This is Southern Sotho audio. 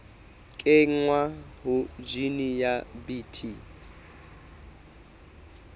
kenngwa ha jine ya bt